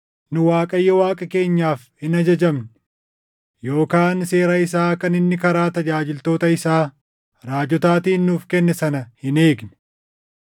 nu Waaqayyo Waaqa keenyaaf hin ajajamne yookaan seera isaa kan inni karaa tajaajiltoota isaa raajotaatiin nuuf kenne sana hin eegne.